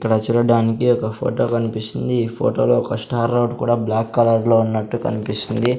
ఇక్కడ చూడడానికి ఒక ఫొటో కన్పిస్తుంది ఈ ఫొటో లో ఒక స్టార్ కూడా బ్లాక్ కలర్ లో ఉన్నట్టు కన్పిస్తుంది.